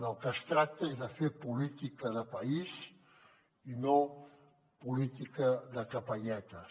del que es tracta és de fer política de país i no política de capelletes